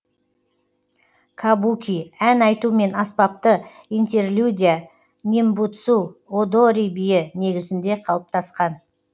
кабуки ән айту мен аспапты интерлюдия нэмбуцу одори биі негізінде калыптасқан